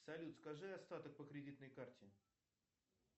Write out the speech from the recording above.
салют скажи остаток по кредитной карте